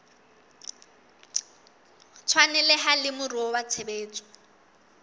tshwaneleha le moruo wa tshebetso